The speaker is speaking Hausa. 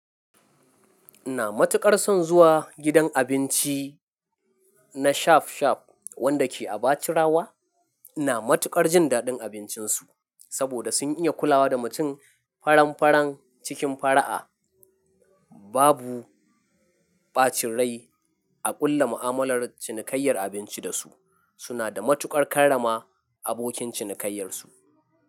Ina matuƙar son zuwa gidan abinci na Shap Shap wanda ke a Bachirawa. Ina matukar jin daɗin abincinsu saboda sun iya kulawa da mutum faran-faran cikin fara'a. Babu ɓacin rai a ƙulla mu'amalar cinikayyar abinci da su. Suna da matuƙar karrama abokin cinikayyarsu.